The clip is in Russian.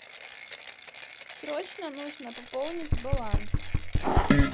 срочно нужно пополнить баланс